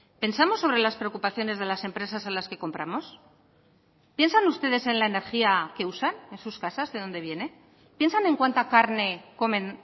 pensamos sobre las preocupaciones de las empresas a las que compramos piensan ustedes en la energía que usan en sus casas de dónde viene piensan en cuanta carne comen